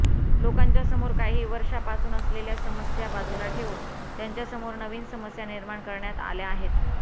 लोकांच्या समोर काही वर्षापासून असलेल्या समस्या बाजूला ठेवून त्यांच्यासमोर नवीन समस्या निर्माण करण्यात आल्या आहेत